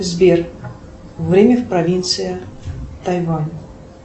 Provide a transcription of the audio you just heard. сбер время в провинции тайвань